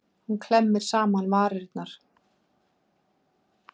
Hún klemmir saman varirnar.